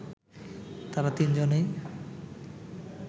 তারা তিন-জনেই